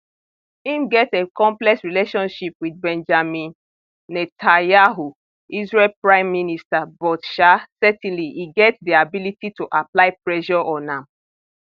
im get a complex relationship with benjamin netanyahu israel prime minister but um certainly e get di ability to apply pressure on am